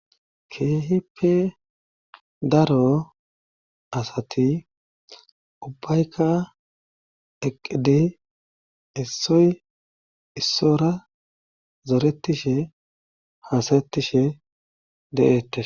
keehippe daro asati ubbaykka eqqidi issoy issora zoretishe hasaettishe de7ettes